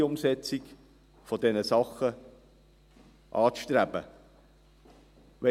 Es ist kein Filet, aber es ist echt bernisch.